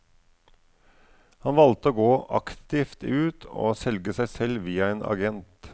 Han valgte å gå aktivt ut og selge seg selv via en agent.